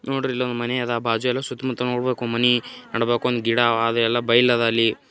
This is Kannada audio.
ನೋಡ್ರಿ ಇಲ್ಲಿ ಒಂದು ಮನೆ ಅದ. ಬಾಜು ಎಲ್ಲ ಸುತ್ತ ಮುತ್ತ ನೋಡ್ಬಕು ಮನಿ ನೋಡ್ಬಕು ಗಿಡ ಅವ ಅದು ಎಲ್ಲ ಬೈಲ್ ಅದ ಅಲ್ಲಿ.